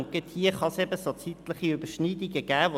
Gerade hier kann es zeitliche Überschneidungen geben.